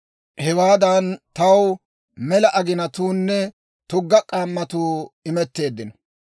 hewaadan taw mela aginatuunne tugga k'ammatuu imetteeddino.